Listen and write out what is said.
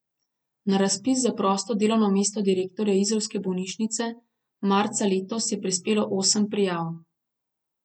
Na razpis za prosto delovno mesto direktorja izolske bolnišnice marca letos je prispelo osem prijav.